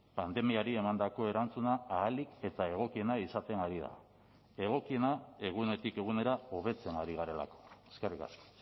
pandemiari emandako erantzuna ahalik eta egokiena izaten ari da egokiena egunetik egunera hobetzen ari garelako eskerrik asko